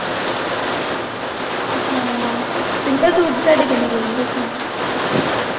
ਹਾਂ simple suit ਦੇ ਤੁਹਾਡੇ ਕਿੰਨੀ ਲੈਂਦੇ ਸਮਾਈ